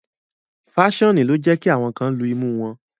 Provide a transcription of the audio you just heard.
Faṣoni lo ǹ jẹ ki awọn kan lú imu wọn